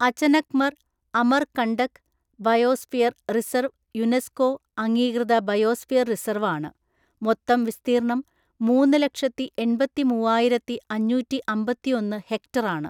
Achanakmar Amarkantak biosphere reserve UNESCO അംഗീകൃത biosphere reserve ആണ്, മൊത്തം വിസ്തീർണ്ണം മൂന്ന് ലക്ഷത്തി എൺപത്തിമൂവായിരത്തി അഞ്ഞൂറ്റിഅമ്പത്തിഒന്ന് ഹെക്ടർ ആണ്.